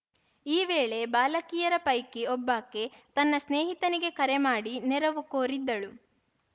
ಈ ವೇಳೆ ಬಾಲಕಿಯರ ಪೈಕಿ ಒಬ್ಬಾಕೆ ತನ್ನ ಸ್ನೇಹಿತನಿಗೆ ಕರೆ ಮಾಡಿ ನೆರವು ಕೋರಿದ್ದಳು